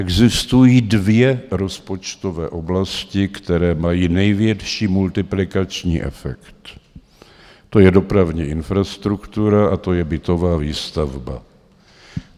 Existují dvě rozpočtové oblasti, které mají největší multiplikační efekt, to je dopravní infrastruktura a to je bytová výstavba.